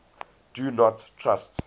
do not trust